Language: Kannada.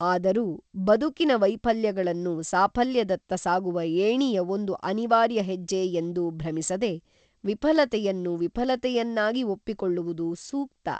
ಆದರೂ, ಬದುಕಿನ ವೈಫ‌ಲ್ಯಗಳನ್ನು ಸಾಫ‌ಲ್ಯದತ್ತ ಸಾಗುವ ಏಣಿಯ ಒಂದು ಅನಿವಾರ್ಯ ಹೆಜ್ಜೆ ಎಂದು ಭ್ರಮಿಸದೆ, ವಿಫ‌ಲತೆಯನ್ನು ವಿಫ‌ಲತೆಯನ್ನಾಗಿ ಒಪ್ಪಿಕೊಳ್ಳುವುದು ಸೂಕ್ತ.